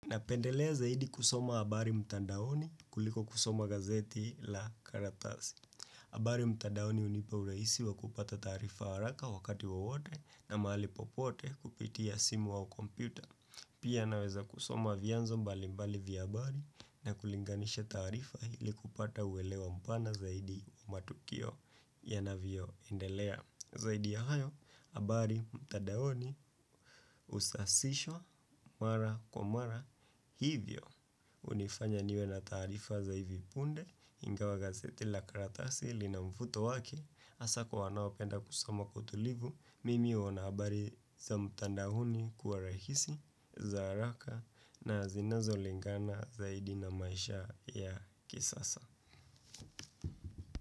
Napendelea zaidi kusoma habari mtandaoni kuliko kusoma gazeti la karatasi. Habari mtandaoni hunipa urahisi wa kupata tarifa haraka wakati wowote na mahali popote kupitia simu au kompyuta. Pia naweza kusoma vyanzo mbali mbali vya habari na kulinganisha taarifa ili kupata uwelewo mpana zaidi wa matukio yanavyo endelea. Zaidi ya hayo habari mtandaoni husasishwa mara kwa mara hivyo hunifanya niwe na taarifa za hivi punde ingawa gazeti la karatasi lina mvuto wake hasa kwa wanao penda kusoma kwa utulivu Mimi huona habari za mtadaoni kuwa rahisi za haraka na zinazo lingana zaidi na maisha ya kisasa.